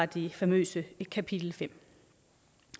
det famøse kapitel femte